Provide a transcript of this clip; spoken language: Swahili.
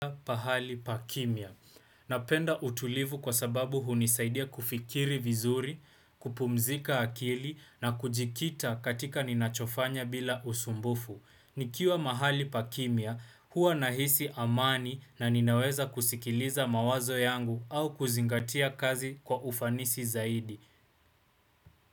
Pahali pa kimya. Napenda utulivu kwa sababu hunisaidia kufikiri vizuri, kupumzika akili na kujikita katika ninachofanya bila usumbufu. Nikiwa mahali pa kimya, huwa nahisi amani na ninaweza kusikiliza mawazo yangu au kuzingatia kazi kwa ufanisi zaidi.